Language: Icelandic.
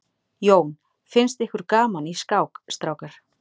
Jón: Finnst ykkur gaman í skák strákar?